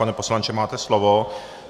Pane poslanče, máte slovo.